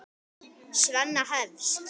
Svenna hefst.